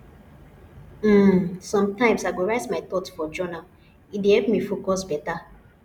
um sometimes i go write my thoughts for journal e dey help me focus beta